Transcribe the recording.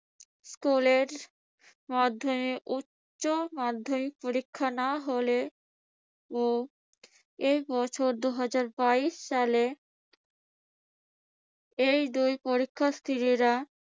স্কুলের মাধ্যমিক, উচ্যমাধ্যমিক পরীক্ষা না হলেও এবছর দুহাজার বাইশ সালে এই দুই পরীক্ষার্থীরা